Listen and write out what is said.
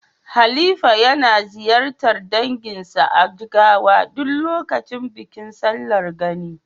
Halifa yana ziyartar danginsa a Jigawa duk lokacin bikin sallar Gani.